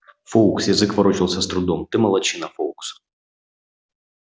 фоукс язык ворочался с трудом ты молодчина фоукс